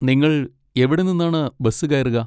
നിങ്ങൾ എവിടെ നിന്നാണ് ബസ് കയറുക?